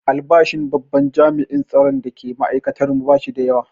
Albashin babban jami'in tsaron da ke makatantar mu ba shi da yawa